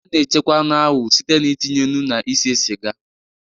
A na-echekwa anụ ahụ site n'itinye nnu na ise siga